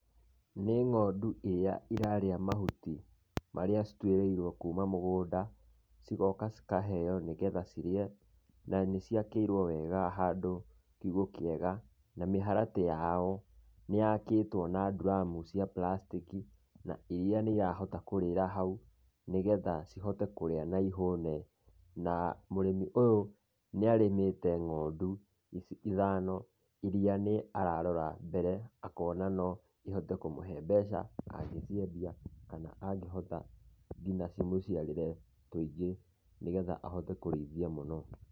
Nĩ ng'ondu iria irarĩa mahuti marĩa cituĩrĩirwo kuuma mũgũnda cigoka cikaheyo nĩgetha cirĩe, na nĩ ciakĩirwo wega na mĩharatĩ yao nĩ yakĩtwo na ndiramu cia plastic na iria nĩ irahota kũrĩra haũ, nĩgetha cihote kũrĩa na ĩhũne, na mũrĩmi ũyũ nĩ arĩmĩte ng'ondu ici ithano iria ararora mbere akona no ihote kũmũhe mbeca kana angĩhota ngina cimũciarire tũingĩ nĩgetha ahote kũrĩithia mũno.